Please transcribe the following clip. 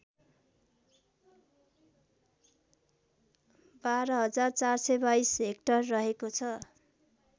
१२४२२ hectare रहेको छ